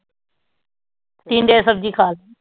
ਟੀਂਡੇ ਦੀ ਸਬਜ਼ੀ ਖਾ